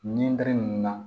Ni ninnu na